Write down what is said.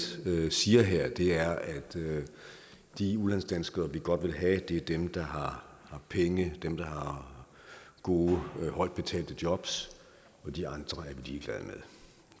siger her er at de udlandsdanskere vi godt vil have er dem der har penge dem der har gode højtbetalte job og de andre